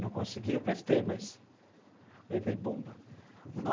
Não consegui, eu prestei, mas levei bomba.